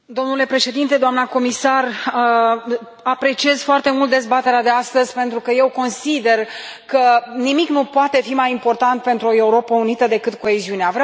Domnule președinte, doamnă comisar, apreciez foarte mult dezbaterea de astăzi, pentru că eu consider că nimic nu poate fi mai important pentru o Europă unită decât coeziunea.